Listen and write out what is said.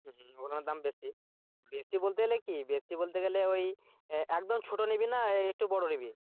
হম ওইগুলার দাম বেশি বেশি বলতে গেলে কি বেশি বলতে গেলে ওই আহ একদম ছোটো নিবি না একটু বড়ো নিবি?